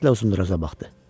Diqqətlə Uzunduraca baxdı.